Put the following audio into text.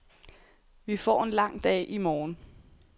Vi får en lang dag i morgen.